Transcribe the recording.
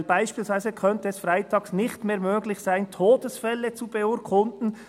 denn: «Beispielsweise könnte es freitags nicht mehr möglich sein, Todesfälle zu beurkunden.